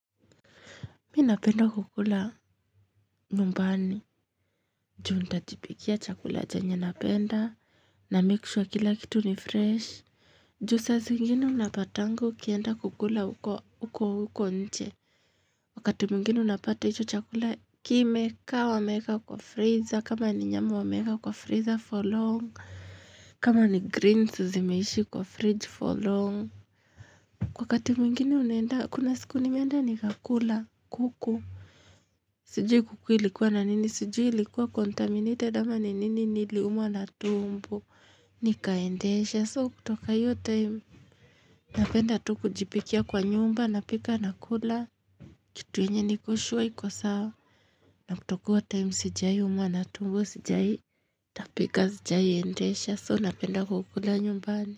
Mimi napenda kukula nyumbani Ju nitajipikia chakula chenye napenda na make sure kila kitu ni fresh Ju saa zingine unapatanga ukienda kukula huko huko nje Wakati mwigine unapata iyo chakula kimekaa wameweka kwa freezer kama ni nyama wameka kwa freezer for long kama ni greens zimeishi kwa fridge for long Wakati mwingine unaenda kuna siku nimeenda ni kakula kuku Sijui kuku ilikuwa na nini? Sijui ilikuwa kontaminited ama ni nini niliumwa na tumbo. Nikaendesha soo kutoka iyo time. Napenda tu kujipikia kwa nyumba na pika na kula. Kitu yenye nikosure iko sawa. Na kutokuwa time sijawai umwa na tumbo sijai. Tapika sijai endesha soo napenda kukula nyumbani.